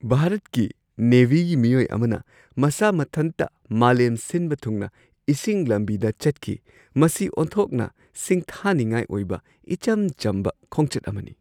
ꯚꯥꯔꯠꯀꯤ ꯅꯦꯚꯤꯒꯤ ꯃꯤꯑꯣꯏ ꯑꯃꯅ ꯃꯁꯥ ꯃꯊꯟꯇ ꯃꯥꯂꯦꯝ ꯁꯤꯟꯕ ꯊꯨꯡꯅ ꯏꯁꯤꯡ ꯂꯝꯕꯤꯗ ꯆꯠꯈꯤ ꯫ ꯃꯁꯤ ꯑꯣꯟꯊꯣꯛꯅ ꯁꯤꯡꯊꯥꯅꯤꯡꯉꯥꯏ ꯑꯣꯏꯕ ꯏꯆꯝ-ꯆꯝꯕ ꯈꯣꯡꯆꯠ ꯑꯃꯅꯤ !